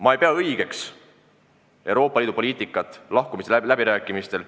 Ma ei pea õigeks Euroopa Liidu poliitikat lahkumisläbirääkimistel.